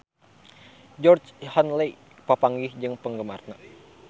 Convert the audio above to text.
Georgie Henley papanggih jeung penggemarna